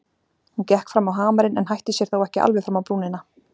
Hún gekk fram á hamarinn en hætti sér þó ekki alveg fram á brúnina.